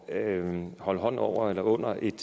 at holde hånden over eller under en